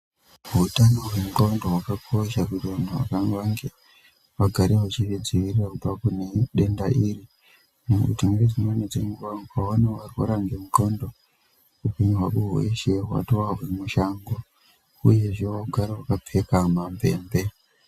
Utano hwe xondo hwakakosha, kuti vantu vagare vachizvidzivirira kubva kune denda iri, nekuti ngedzimweni dzenguwa ukaona warwara ngengqondo, upenyu hwako hweshe hwatova hwemushango, uyezve waakugara wakapfeka mamvemve.